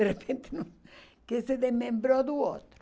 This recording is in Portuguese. De repente, que se desmembrou do outro.